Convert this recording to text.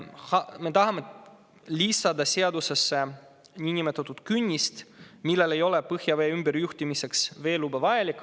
Me tahame lisada seadusesse niinimetatud künnise, mille puhul ei ole põhjavee ümberjuhtimiseks veeluba vaja.